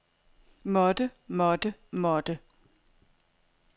måtte måtte måtte